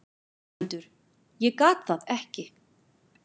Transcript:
GVENDUR: Ég gat það ekki!